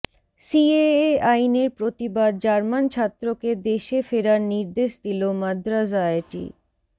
CAA আইনের প্রতিবাদ German ছাত্রকে দেশে ফেরার নির্দেশ দিল মাদ্রাজ আইআইটি